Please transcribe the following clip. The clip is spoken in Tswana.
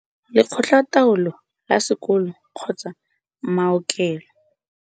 Lekgotla taolo la Sekolo kgotsa mao kelo.